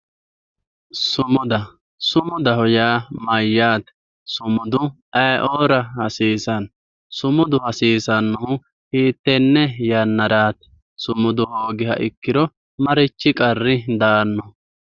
sumuda sumudaho yaa mayaate sumudu ayii"oora hasiisanno sumudu hasissannohu hittenne yannaraati sumudu hoogiha ikkiro marichi qarri daanno.